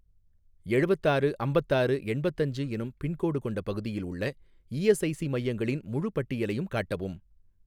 எழுவத்தாறு அம்பத்தாறு எண்பத்தஞ்சு எனும் பின்கோடு கொண்ட பகுதியில் உள்ள இஎஸ்ஐஸி மையங்களின் முழுப் பட்டியலையும் காட்டவும்.